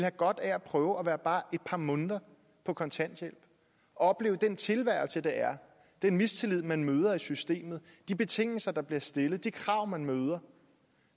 godt af at prøve at være bare et par måneder på kontanthjælp og opleve den tilværelse det er den mistillid man møder i systemet de betingelser der bliver stillet de krav man møder